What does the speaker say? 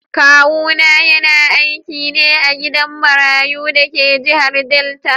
Kawuna yana aiki ne a gidan marayu da ke jihar Delta.